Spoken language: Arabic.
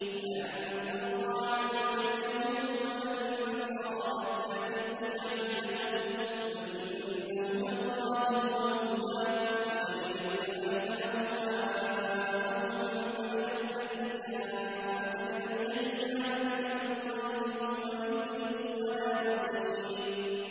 وَلَن تَرْضَىٰ عَنكَ الْيَهُودُ وَلَا النَّصَارَىٰ حَتَّىٰ تَتَّبِعَ مِلَّتَهُمْ ۗ قُلْ إِنَّ هُدَى اللَّهِ هُوَ الْهُدَىٰ ۗ وَلَئِنِ اتَّبَعْتَ أَهْوَاءَهُم بَعْدَ الَّذِي جَاءَكَ مِنَ الْعِلْمِ ۙ مَا لَكَ مِنَ اللَّهِ مِن وَلِيٍّ وَلَا نَصِيرٍ